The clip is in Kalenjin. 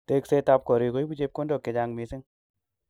Teksetab korik koibu chepkondok chechang mising